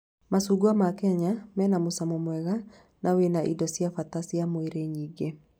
Macungwa ma Kenya mena mũcamo mwega na wena indo cia bata cia mwĩrĩ nyingĩ